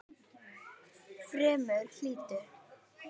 Fremur hlýtt.